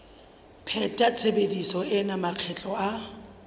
pheta tshebetso ena makgetlo a